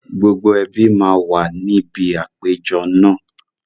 Gbogbo ẹbí máa wà níbi àpéjọ náà